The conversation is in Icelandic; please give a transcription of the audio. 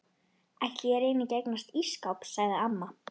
Ætli ég reyni ekki að eignast ísskáp sagði amma.